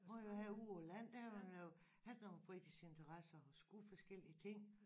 Hvor jeg havde ude på land der havde man jo altid nogen fritidsinteresser og skulle forskellige ting